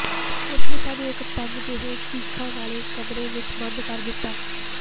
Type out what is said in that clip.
ਉਨ੍ਹਾਂ ਨੇ ਸਾਨੂੰ ਇਕ ਤੰਗ ਜਹੇ ਸੀਖਾਂ ਵਾਲੇ ਕਮਰੇ ਵਿਚ ਬੰਦ ਕਰ ਦਿਤਾ